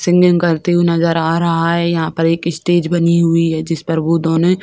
singing करते हुए नजर आ रहा है यहां पर एक स्टेज बनी हुई है जिस पर वो दोनो --